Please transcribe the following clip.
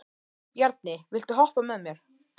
Bjarni, viltu hoppa með mér?